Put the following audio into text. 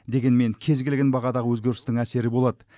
дегенмен кез келген бағада өзгерістің әсері болады